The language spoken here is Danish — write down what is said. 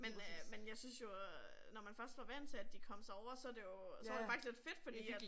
Men øh men jeg synes jo øh når man først var vant til at de kom sig over så det jo så var det faktisk lidt fedt fordi at